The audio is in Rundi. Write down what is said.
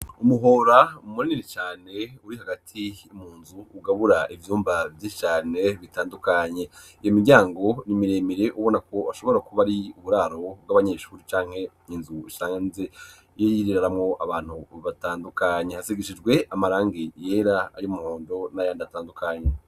umuhora munini cane uri hagati munzu ugabura ivyumba vyinshi cane bitandukanye iyo miryango n'imiremire ubona ko ashobora kuba ari uburaro bw'abanyeshuri canke inzu isanzwe yiberamwo abantu batandukanye hasigishijwe amarangi yera ayu muhondo n'arandi atandukanye